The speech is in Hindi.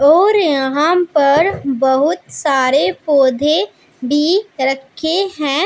और यहां पर बहोत सारे पौधे भी रखे हैं।